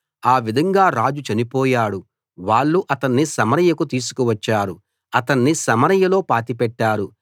ఆ విధంగా రాజు చనిపోయాడు వాళ్ళు అతన్ని సమరయకు తీసుకు వచ్చారు అతణ్ణి సమరయలో పాతిపెట్టారు